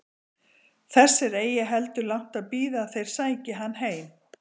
Þess er eigi heldur langt að bíða að þeir sæki hann heim.